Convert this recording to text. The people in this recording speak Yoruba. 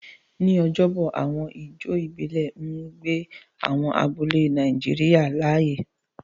Ní ọjọ́bọ̀, àwọn ijó ìbílẹ̀ ń gbé àwọn abúlé Nàìjíríà láàyè.